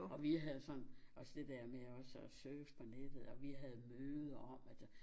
Og vi havde sådan også dét der med også at søge på nettet og vi havde møde om altså